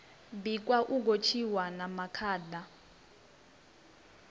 bikwa u gotshiwa na makanda